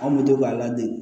An kun bɛ to k'a ladege